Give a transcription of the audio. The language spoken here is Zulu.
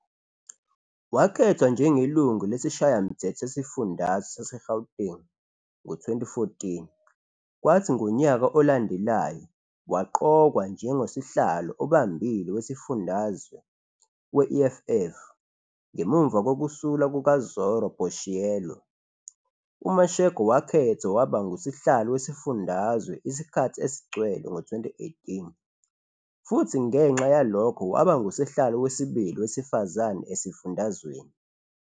Wakhethwa njengeLungu lesiShayamthetho sesiFundazwe saseGauteng ngo-2014 kwathi ngonyaka olandelayo waqokwa njengosihlalo obambile wesifundazwe we-EFF ngemuva kokusula kukaZorro Boshielo. UMashego wakhethwa waba nguSihlalo wesifundazwe isikhathi esigcwele ngo-2018 futhi ngenxa yalokho waba nguSihlalo wesibili wesifazane esifundazweni.